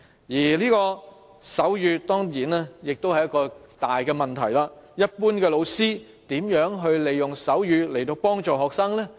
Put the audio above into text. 此外，手語當然也是一個大問題，一般老師如何利用手語來幫助學生呢？